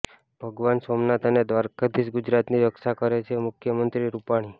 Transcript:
ભગવાન સોમનાથ અને દ્વારકાધીશ ગુજરાતની રક્ષા કરે છેઃ મુખ્યમંત્રી રૂપાણી